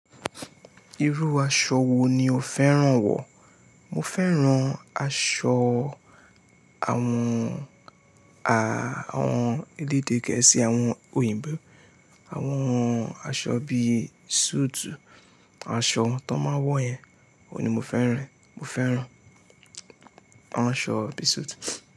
Irú aṣọ wo ni o fẹ́ràn wọ̀? Mo fẹ́ràn aṣọ àwọn a, àwọn elédè gẹ̀ẹ́sì, àwọn òyìnbó. Àwọn aṣọ bí i suit, aṣọ tó máa ń wọ yẹn oun ni mo fẹ́ràn e mo feran. Mo ràn ṣọ bí suit.